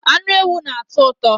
Anụ ewu na-atọ ụtọ